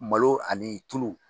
Malo ani tulu